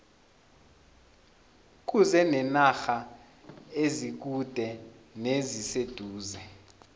kuze nenarha ezikude neziseduze